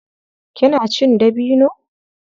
Kina cin dabino?